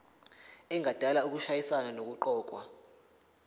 engadala ukushayisana nokuqokwa